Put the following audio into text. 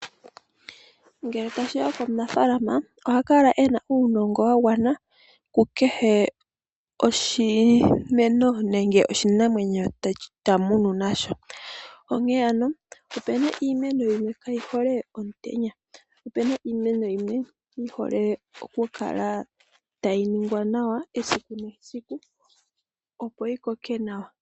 Ngele tashiya komunafalama oha kala ena uunogo wa gwana ku kehe oshimeno nenge oshinamwenyo ta munu nasho. Onkene ano opuna iimeno yimwe kayi hole omutenya. Opena iimeno yimwe yi hole oku kala tayi ningwa nawa esiku nesiku opo yi koke nawa.